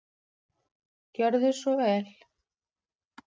Gjörðu svo vel.